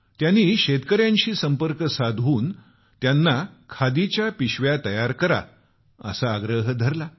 त्यांनी शेतकऱ्यांशी संपर्क साधून खादीच्या पिशव्या बनवा असा आग्रह धरला